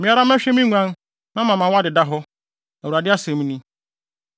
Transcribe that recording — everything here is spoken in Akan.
Me ara mɛhwɛ me nguan na mama wɔadeda hɔ. Awurade asɛm ni.